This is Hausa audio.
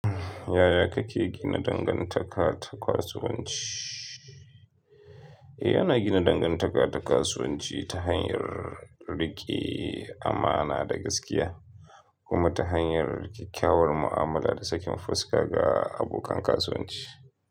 Yaya kake gina dangantaka ta kasuwanci? Eh, ana gina dangantaka ta kasuwanci ta hanyar riƙe amana da gaskiya, kuma ta hanyar kyakkyawar mu'amala da sakin fuska ga abokan kasuwanci.